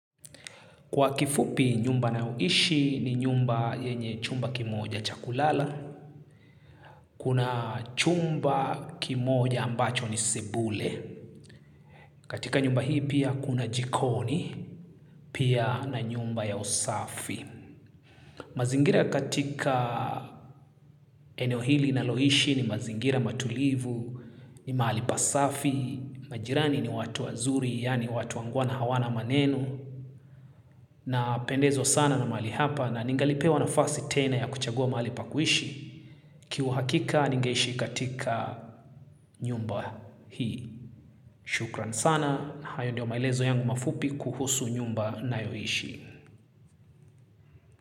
Kwa kifupi nyumba nayoishi ni nyumba yenye chumba kimoja cha kulala, kuna chumba kimoja ambacho ni sebule. Katika nyumba hii pia kuna jikoni, pia na nyumba ya usafi. Mazingira katika eneo hili naloishi ni mazingira matulivu, ni mahali pasafi, majirani ni watu wazuri yaani watu wangwana hawana maneno. Napendezwa sana na mahali hapa na ningalipewa nafasi tena ya kuchagua mahali pa kuishi kihuhakika ningeishi katika nyumba hii. Shukran sana na hayo ndio maelezo yangu mafupi kuhusu nyumba nayoishi.